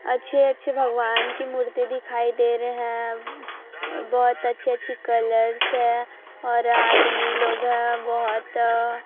अच्छे अच्छे भगवान की मूर्ति दिखाई दे रहे हैं बहुत अच्छे अच्छे कलर्स है और आदमी लोग हैं बहुत।